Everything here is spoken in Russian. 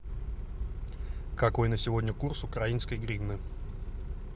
какой на сегодня курс украинской гривны